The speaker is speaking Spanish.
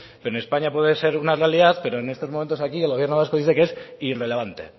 pero en españa puede ser una realidad pero en estos momentos aquí el gobierno vasco dice que es irrelevante